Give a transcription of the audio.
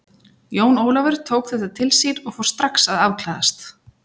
Jón Ólafur tók þetta til sín og fór strax að afklæðast.